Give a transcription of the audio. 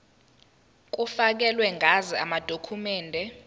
kufakelwe ngazo amadokhumende